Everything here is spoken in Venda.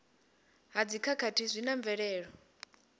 ha dzikhakhathi zwi na mvelelo